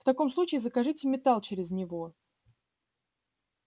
в таком случае закажите металл через него